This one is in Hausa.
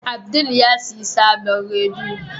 Abdul yasiyar sabon rediyo.